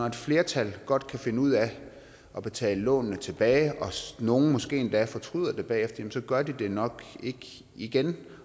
et flertal godt kan finde ud af at betale lånene tilbage og nogle måske endda fortryder det bagefter så gør de det nok ikke igen